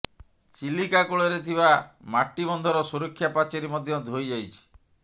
ଚିଲିକା କୂଳରେ ଥିବା ମାଟିବନ୍ଧର ସୁରକ୍ଷା ପାଚେରୀ ମଧ୍ୟ ଧୋଇ ଯାଇଛି